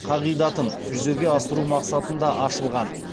қағидатын жүзеге асыру мақсатында ашылған